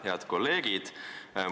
Head kolleegid!